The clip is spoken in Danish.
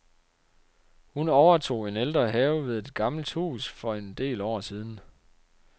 Hun overtog en ældre have ved et gammelt hus for en del år siden.